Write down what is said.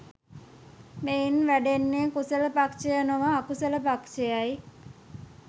මෙයින් වැඩෙන්නේ කුසල පක්‍ෂය නොව අකුසල පක්‍ෂයයි.